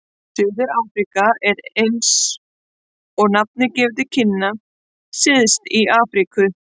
Suður-Afríka er, eins og nafnið gefur til kynna, syðst í Afríku.